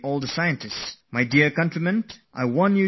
My dear fellow citizens, I would like you to note down one number